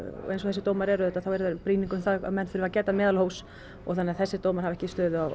eins og þessir dómar eru auðvitað þá eru þeir brýning um það að menn þurfa að gæta meðalhófs þannig að þessir dómar hafa ekki